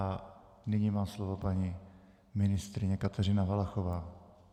A nyní má slovo paní ministryně Kateřina Valachová.